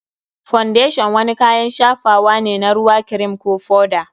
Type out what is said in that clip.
Foundation wani kayan shafawa ne na ruwa, kirim, ko foda.